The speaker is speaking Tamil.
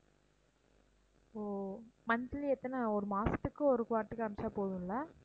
ஓ monthly எத்தனை ஒரு மாசத்துக்கு ஒரு வாட்டி காமிச்சா போதும் இல்ல